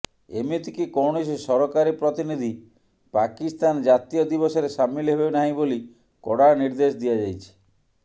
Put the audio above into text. ଏମିତିକି କୌଣସି ସରକାରୀ ପ୍ରତିନିଧି ପାକିସ୍ତାନ ଜାତୀୟ ଦିବସରେ ସାମିଲ ହେବେ ନାହିଁ ବୋଲି କଡ଼ା ନିର୍ଦ୍ଦେଶ ଦିଆଯାଇଛି